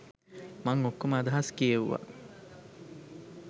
මං ඔක්කොම අදහස් කියෙව්වා.